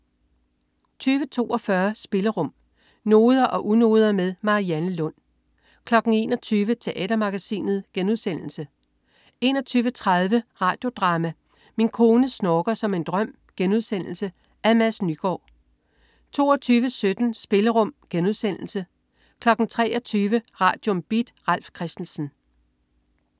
20.42 Spillerum. Noder og unoder med Marianne Lund 21.00 Teatermagasinet* 21.30 Radio Drama: Min kone snorker som en drøm.* Af Mads Nygaard 22.17 Spillerum* 23.00 Radium. Beat. Ralf Christensen